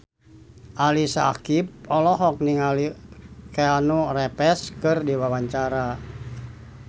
Ali Syakieb olohok ningali Keanu Reeves keur diwawancara